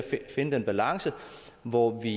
finde den balance hvor vi